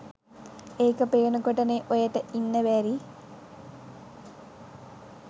ඒක පේනකොටනේ ඔයට ඉන්න බැරි.